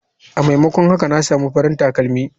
A maimakon haka na samu farin takalmi.